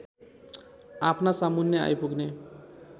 आफ्ना सामुन्ने आइपुग्ने